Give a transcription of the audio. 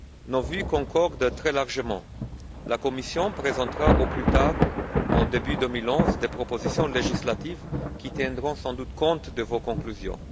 Nos vues concordent très largement. La Commission présentera au plus tard au début 2011 des propositions législatives qui tiendront sans doute compte de vos conclusions.